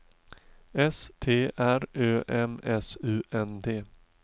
S T R Ö M S U N D